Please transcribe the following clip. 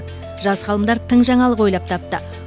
жас ғалымдар тың жаңалық ойлап тапты